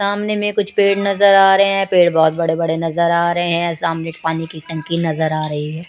सामने में कुछ पेड़ नजर आ रहे हैं पेड़ बहोत बड़े बड़े नजर आ रहे हैं सामने पानी की टंकी नजर आ रही है।